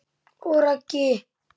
Og Raggi?